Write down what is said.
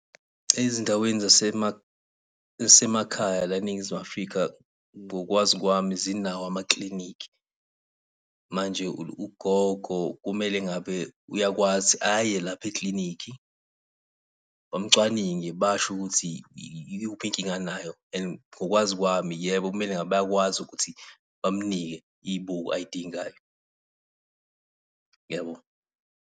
Ezindaweni zasemakhaya la eNingizimu Afrika, ngokwazi kwami zinawo amakilinikhi. Manje ugogo kumele ngabe uyakwazi aye lapha eklinikhi, bamucwaninge, basho ukuthi ikuphi inkinga anayo, and ngokwazi kwami yebo kumele ngabe bayakwazi ukuthi bamnike iy'buko ay'dingayo. Ngiyabonga.